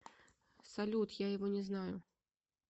салют я его не знаю